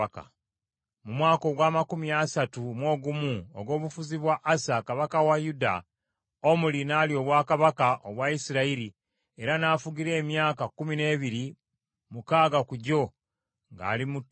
Mu mwaka ogw’amakumi asatu mu ogumu ogw’obufuzi bwa Asa kabaka wa Yuda, Omuli n’alya obwakabaka obwa Isirayiri era n’afugira emyaka kkumi n’ebiri, mukaaga ku gyo ng’ali mu Tiruza.